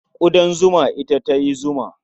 Ƙudan zuma ita ta yi zuma.